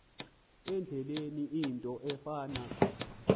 indlela into efana